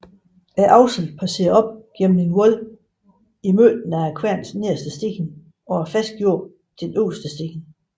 Akselen passerer op gennem et hul i midten af kværnens nederste sten og er fastgjort til den øverste sten